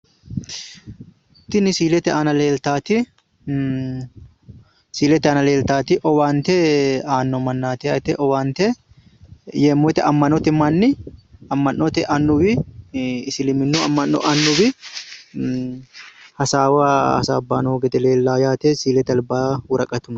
Tini siiete aana leeltaati siilete aana leeltaati owaante aano mannaati, yeemmo woyte amma'note manni amma'note aanuwi isiliminnu amma'no annuwi hasaawa hasaabbay no gede leellawo yaate siilete albaanni woraqatu no.